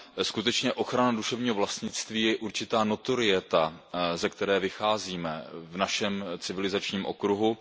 Skutečně ochrana duševního vlastnictví je určitá notorieta, ze které vycházíme v našem civilizačním okruhu.